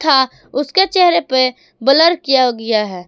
उसके चेहरे पे ब्लर किया गया है।